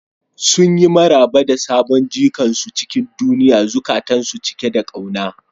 Sun yi maraba da sabon jikan su cikin duniya, zukatansu cike da kauna.